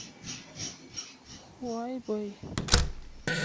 хуайбэй